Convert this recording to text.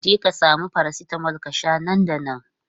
Jeka sami paracetamol ka sha nan da nan!